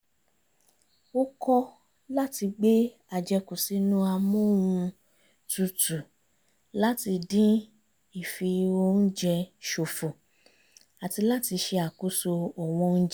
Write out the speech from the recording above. ó kọ́ láti gbé àjẹkù sínú amóhun-tutù láti dín ìfi-oúnjẹ ṣòfò àti láti ṣe àkóso ọ̀wọ́n oúnjẹ